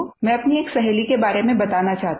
मैं अपनी एक सहेली के बारे में बताना चाहती हूँ